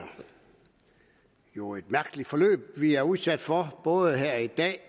jo et mærkeligt forløb vi er udsat for både her i dag